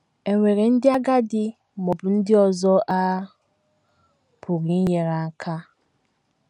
È nwere ndị agadi ma ọ bụ ndị ọzọ a pụrụ inyere aka?